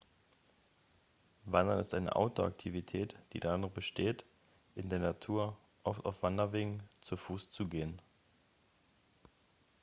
wandern ist eine outdoor-aktivität die darin besteht in der natur oft auf wanderwegen zu fuß zu gehen